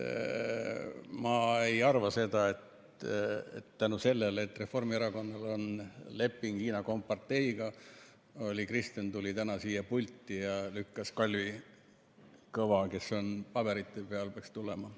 Ma ei arva seda, et tänu sellele, et Reformierakonnal on leping Hiina komparteiga, tuli Kristen täna siia pulti ja lükkas Kalvi Kõva, kes paberite järgi pidanuks siia tulema.